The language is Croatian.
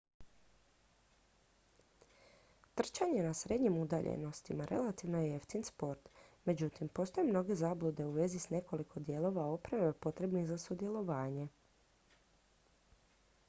trčanje na srednjim udaljenostima relativno je jeftin sport međutim postoje mnoge zablude u vezi s nekoliko dijelova opreme potrebnih za sudjelovanje